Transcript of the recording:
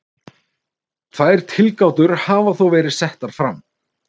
Tvær tilgátur hafa þó verið settar fram.